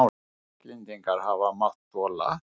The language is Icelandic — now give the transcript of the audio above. Íslendingar hafa mátt þola.